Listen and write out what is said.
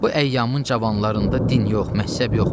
Bu əyyamın cavanlarında din yox, məzhəb yox.